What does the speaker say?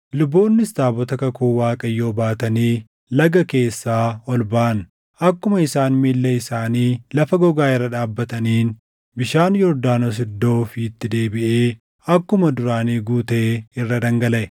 Luboonnis taabota kakuu Waaqayyoo baatanii laga keessaa ol baʼan. Akkuma isaan miilla isaanii lafa gogaa irra dhaabbataniin bishaan Yordaanos iddoo ofiitti deebiʼee akkuma duraanii guutee irra dhangalaʼe.